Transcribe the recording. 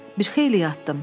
Bir xeyli yatdım.